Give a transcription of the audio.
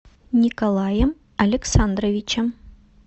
николаем александровичем